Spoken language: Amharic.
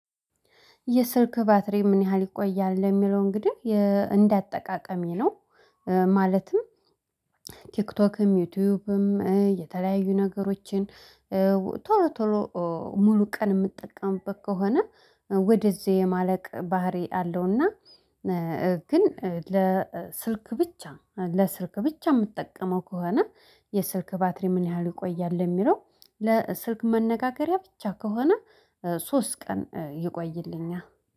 የስልክ ባትሪ ምን ያህል ይቆያል ለሚለው እንግዲህ እንደ አጠቃቀሜ ነው። ማለትም ቲክቶክም ዩቲዩብም የተለያዩ ነገሮችን ቶሎ ቶሎ ሙሉ ቀን የምጠቀምበት ከሆነ ወደዚህ የማለቅ ባህሪ አለውና። ግን ለስልክ ብቻ ለስልክ ብቻ የምትጠቀመው ከሆነ የስልክ ባትሪ ምን ያህል ይቆያል? የሚለው ለስልክ መነጋገሪያ ብቻ ከሆነ ሶስት ቀን ይቆይልኛል